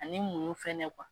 Ani ni munɲun fɛnɛ